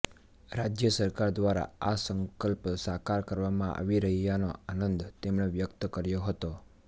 રાજ્ય સરકાર દ્વારા આ સંકલ્પ સાકાર કરવામાં આવી રહયાનો આનંદ તેમણે વ્યક્ત કર્યો હતો